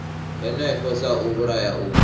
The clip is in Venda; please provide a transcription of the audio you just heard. hanefho sa u vhulaha u